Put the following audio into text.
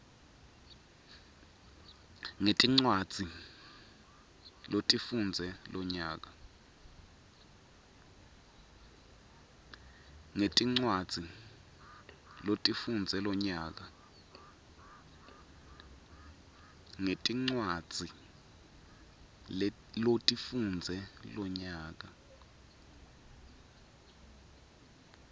ngetincwadzi lotifundze lonyaka